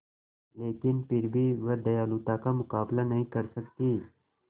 लेकिन फिर भी वह दयालुता का मुकाबला नहीं कर सकती